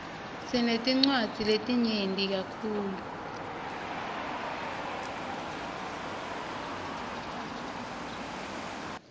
sinetinwadzi letinyeti kakhulu